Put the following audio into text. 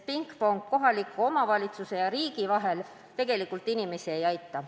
Pingpong kohaliku omavalitsuse ja riigi vahel tegelikult inimesi ei aita.